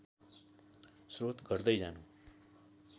स्रोत घट्दै जानु